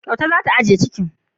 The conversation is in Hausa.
Kyauta za ta agiye cikin.